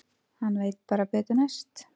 Hann veit bara betur næst.